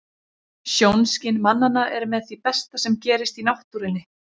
Sjónskyn mannanna er með því besta sem gerist í náttúrunni.